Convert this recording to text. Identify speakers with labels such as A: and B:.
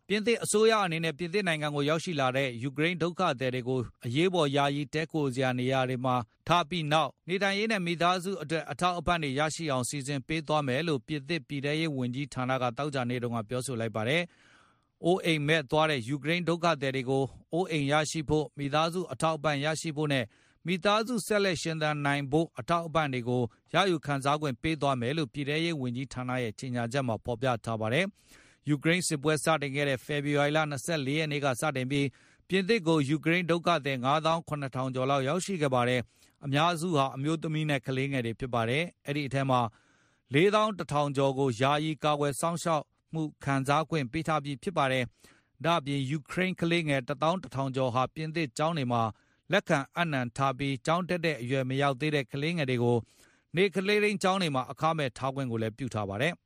A: ပြင်သစ်အစိုးရအနေနဲ့ ပြင်သစ်နိုင်ငံကိုရောက်ရှိလာတဲ့ ယူကရိန်းဒုက္ခသည်တွေကို အရေးပေါ်ယာယီတည်းခိုရာဖို့ နေရာတွေမှာထားပြီးနောက်၊ နေထိုင်ရေးနဲ့ မိသားစုအတွက် အထောက်အပံ့ တွေရရှိအောင်စီစဉ်ပေးသွားမယ်လို့ ပြင်သစ်ပြည်ထဲရေးဝန်ကြီးဌာနက သောကြာနေ့က ပြောဆိုလိုက်ပါတယ်။ အိုးအိမ်မဲ့သွားတဲ့ ယူကရိန်းဒုက္ခသည်တွေကို အိုးအိမ်ရရှိဖို့၊ မိသားစုအထောက်ပံ့ရရှိဖို့နဲ့၊ မိသားစုဆက်လက်ရှင်သန်နိုင်ဖို့ အထောက်အပံ့တွေကို ရယူခံစားခွင့်ပေးသွားမယ်လို့ ပြည်ထဲရေးဝန်ကြီးဌာနရဲ့ကြေညာချက်မှ ဖေါ်ပြထားပါတယ်။ ယူကရိန်းစစ်ပွဲစတင်ခဲ့တဲ့ ဖေဖေါ်ဝါရီလ ၂၄ ရက်နေ့ကစပြီး ပြင်သစ်ကို ယူကရိန်းဒုက္ခသည် ၅ သောင်း ၇ ထောင်ကျော်ရောက်ရှိခဲ့ပါတယ်။ အများစုဟာ၊ အမျိုးသမီးနဲ့ ကလေးငယ်တွေဖြစ်ကြပါတယ်။ အဲဒီအထဲက ၄ သောင်း ၁ ထောင်ကျော်ကို ယာယီကာကွယ် စောင့်ရှောက်မှု ခံစားခွင့်ပေးထားပြီးဖြစ်ပါတယ်။ ဒါ့အပြင် ယူကရိန်း ခလေးငယ် ၁ သောင်း ၁ ထောင်ကျော်ဟာ ပြင်သစ်ကျောင်းတွေမှာ လက်ခံအပ်နှံထားပြီး၊ ကျောင်းတက်တဲ့ အရွယ်မရောက်သေးတဲ့ ကလေးငယ်တွေကို နေ့ကလေးထိန်းကျောင်းအခမဲ့ ထားခွင့်လည်းပြုထားပါတယ်။